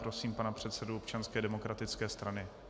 Prosím pana předsedu Občanské demokratické strany.